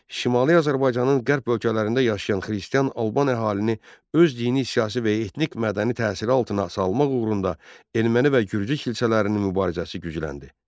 Şimali Azərbaycanın qərb bölgələrində yaşayan xristian Alban əhalini öz dini, siyasi və ya etnik mədəni təsiri altına salmaq uğrunda erməni və gürcü kilsələrinin mübarizəsi gücləndi.